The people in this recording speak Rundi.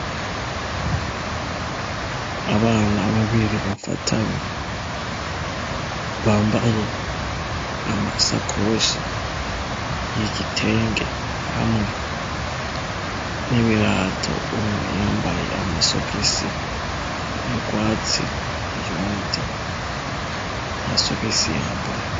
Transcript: Abana babiri bafatanye bambaye amasakoshi y'igitenge hamwe n'ibirato umwe yambaye amasogisi y'ugwatsi uyundi ntasogisi yambaye.